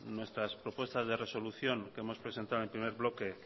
nuestras propuestas de resolución que hemos presentado en el primer bloque